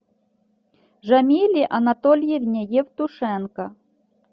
жамиле анатольевне евтушенко